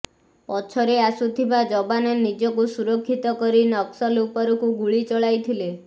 ପଛରେ ଆସୁଥିବା ଯବାନ ନିଜକୁ ସୁରକ୍ଷିତ କରି ନକ୍ସଲ ଉପରକୁ ଗୁଳି ଚଳାଇଥିଲେ